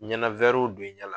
Ɲɛnawɛriw don i ɲɛ la.